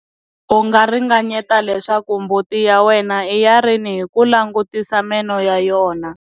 U nga ringanyeta leswaku mbuti ya wena i ya rini hi ku langutisa meno ya yona.